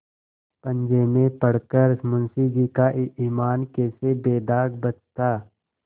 पंजे में पड़ कर मुंशीजी का ईमान कैसे बेदाग बचता